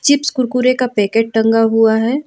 Chips Kurkure का packet टंगा हुआ है।